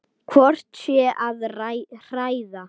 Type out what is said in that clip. Hvort ég sé að hræða.